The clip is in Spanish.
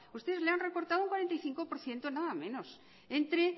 ustedes le han recortado un cuarenta y cinco por ciento nada menos entre